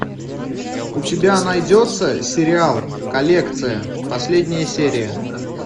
у тебя найдется сериал коллекция последняя серия